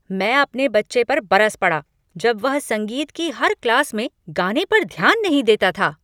मैं अपने बच्चे पर बरस पड़ा जब वह संगीत की हर क्लास में गाने पर ध्यान नहीं देता था।